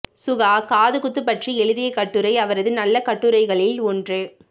சுகா காதுகுத்து பற்றி எழுதிய கட்டுரை அவரது நல்ல கட்டுரைகளில் ஒன்று